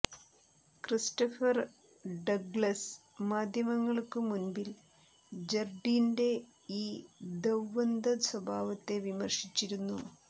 Christopher Douglas മാധ്യമങ്ങൾക്കു മുൻപിൽ ജർഡീന്റെ ഈ ദ്വ്വന്ദ സ്വഭാവത്തെ വിമർശിച്ചിരുന്നു